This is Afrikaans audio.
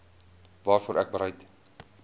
waarvoor ek bereid